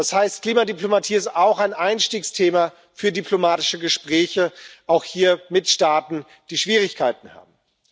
Das heißt, Klimadiplomatie ist auch ein Einstiegsthema für diplomatische Gespräche, auch mit Staaten, die hier Schwierigkeiten haben.